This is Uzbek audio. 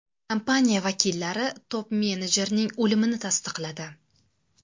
Kompaniya vakillari top-menejerning o‘limini tasdiqladi.